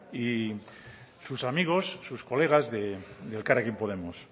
y sus amigos sus colegas de elkarrekin podemos